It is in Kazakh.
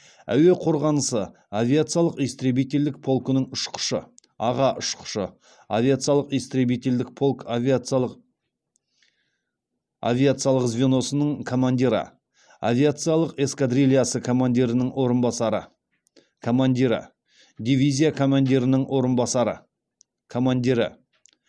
әуе қорғанысы авиациялық истребительдік полкының ұшқышы аға ұшқышы авиациялық истребителдік полк авиациялық звеносының командирі авиациялық эскадрильясы командирінің орынбасары командирі дивизия командирінің орынбасары командирі